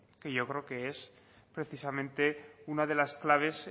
que yo creo que es precisamente una de las claves